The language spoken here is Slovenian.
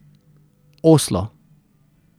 Oslo.